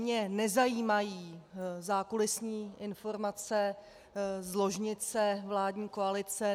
Mě nezajímají zákulisní informace z ložnice vládní koalice.